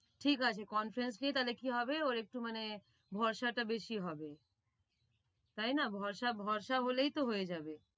ঠিক আছে conference নিয়ে তালে কি হবে ওর একটু মানে ভরসাটা বেশি হবে তাই না? ভরসা ভরসা হলেই তো হয়ে যাবে।